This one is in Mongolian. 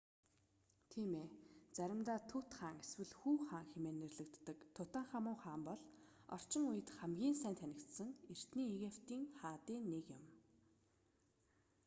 тийм ээ заримдаа тут хаан эсвэл хүү хаан хэмээн нэрлэдэг тутанхамун хаан бол орчин үед хамгийн сайн танигдсан эртний египетийн хаадын нэг юм